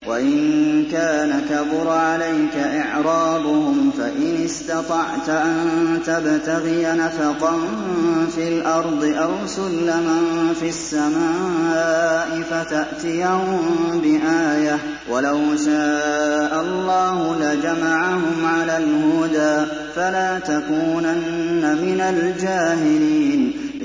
وَإِن كَانَ كَبُرَ عَلَيْكَ إِعْرَاضُهُمْ فَإِنِ اسْتَطَعْتَ أَن تَبْتَغِيَ نَفَقًا فِي الْأَرْضِ أَوْ سُلَّمًا فِي السَّمَاءِ فَتَأْتِيَهُم بِآيَةٍ ۚ وَلَوْ شَاءَ اللَّهُ لَجَمَعَهُمْ عَلَى الْهُدَىٰ ۚ فَلَا تَكُونَنَّ مِنَ الْجَاهِلِينَ